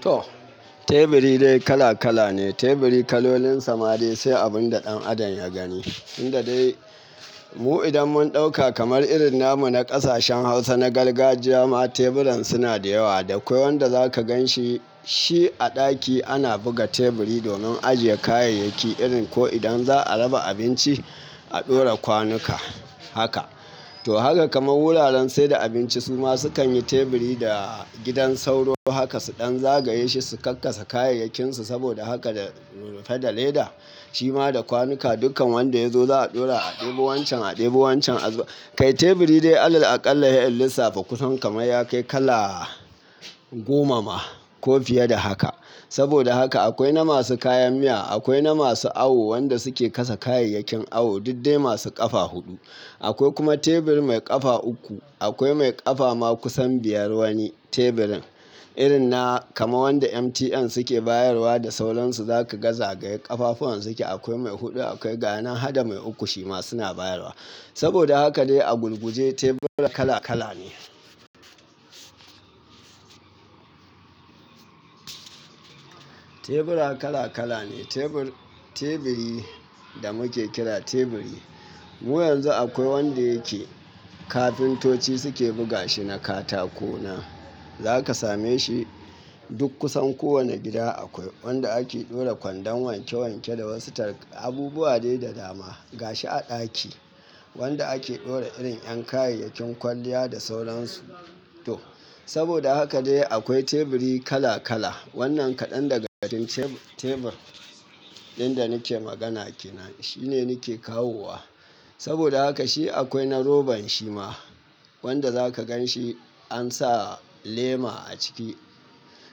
Toh teburi dai kala kala ne. Teburi kalolin sa ma dai sai abun da ɗan adam ya gani, tunda dai mu idan mun ɗauka kamar irin namu na ƙasashen Hausa na gargajiya ma teburan suna da yewa. Da koi wanda za ka gan shi, shi a ɗaki ana buga teburi domin ajiye kayayyaki irin ko idan za a raba abinci, a ɗora kwanuka. Haka, to haka kaman wuraren saida abinci su ma sukan yi teburi da gidan sauro. Haka su ɗan zagaye shi su kakkasa kayayyakinsu. Saboda haka da rumfa da leda shima da kwanuka, dukkan wanda ya zo za a ɗora a ɗebo wancan, a ɗebo wancan. Kai teburi dai Alal alƙalla sai in lissafa kusan kamar ya kai kala goma ma ko fiye da haka. Saboda haka akoi na masu kayan miya, akoi na masu awo wanda suke kasa kayayakin awo, duk dai masu ƙafa huɗu. Akoi kuma teburi mai ƙafa uku, akwai mai ƙafa ma kusan biyar woni teburin irin na kama wanda MTN suke bayarwa da sauransu. Za ka ga za ga ye ƙafafuwan suke. Akoi mai huɗu akwai ga ya nan hada mai uku shima suna bayarwa. Saboda haka dai a gurguje tebura kala kala ne. Tebura kala kala ne. Tebur-teburi da muke kira teburi. Yanzu akoi wanda yake kafintoci suke buga shi na katako nan. Za ka same shi duk kusan kowani gida akoi wanda ake ɗora kwandon wanke wanke da wasu tar abubuwa dai da dama. Ga shi a ɗaki wanda ake ɗora irin 'yan kayayyakin kwalliya da sauransu. To saboda haka dai akwai teburi kala kala. Wannan kaɗan daga cikin tebur ɗin da nake magana ke nan shine nike kawowa. Saboda haka shi akoi na roban shi ma wanda za ka gan shi an sa lema a ciki.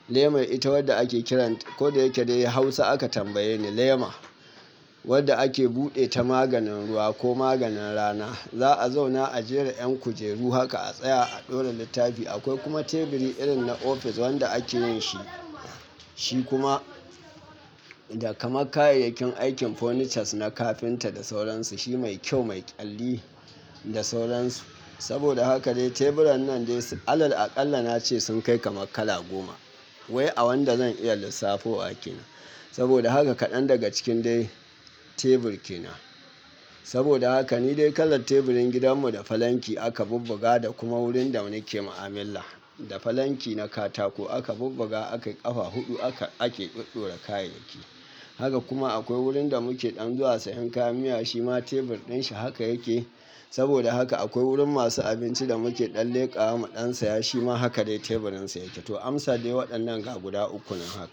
Leman ita wadda ake kiran ta ko da yake dai Hausa aka tambaye ni, lema wadda ake buɗe ta maganin ruwa ko maganin rana. Za a zauna a jera 'yan kujeru haka a tsaya a ɗora littafi. Akoi kuma teburi irin na ofis wanda ake yin shi, shi kuma da kaman kayayyakin aikin furnitures na kafinta da sauransu. Shi mai kyau, mai ƙyalli da sauransu. Saboda haka dai teburan nan dai alal alƙalai na ce sun kai kaman kala goma wai a wanda zan iya lissafowa kenan. Saboda haka kaɗan daga cikin dai tebur ke nan. Saboda haka ni dai kalar teburin gidan mu da falanki aka bubbuga da kuma wurin da muke mu'amilla da falanki na katako aka bubbuga aka ƙafa huɗu aka ake ɗoɗora kayayyaki. Haka kuma akoi wurin da muke ɗan zuwa siyan kayan miya shima tebur ɗin shi haka yake. Saboda haka akwoi wurin masu abinci da muke ɗan leƙa wa ɗan saya shima haka dai teburin sa yake. To amsan dai waɗannan guda uku nan haka.